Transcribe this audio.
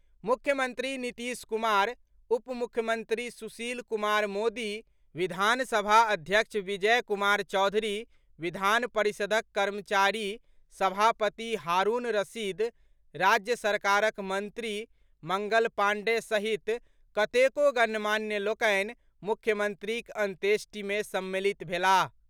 मुख्यमंत्री नीतीश कुमार, उपमुख्यमंत्री सुशील कुमार मोदी, विधानसभा अध्यक्ष विजय कुमार चौधरी, विधान परिषदक कार्यकारी सभापति हारूण रशीद, राज्य सरकारक मंत्री मंगल पांडेय सहित कतेको गणमान्य लोकनि मुख्यमंत्रीक अंत्येष्टि मे सम्मिलित भेलाह।